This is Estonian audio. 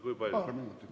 Kui palju?